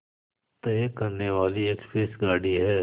तय करने वाली एक्सप्रेस गाड़ी है